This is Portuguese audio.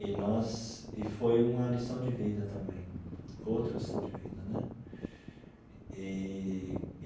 E nós e foi uma lição de vida também, outra lição de vida né eee.